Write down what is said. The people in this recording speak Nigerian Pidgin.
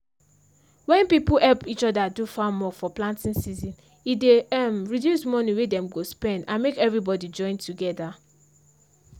when people help each other do farm work for planting season e dey um reduce money wey dem go spend and make everybody join together.